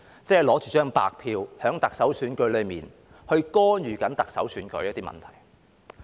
即是拿着白票在特首選舉中干預特首選舉的一些問題。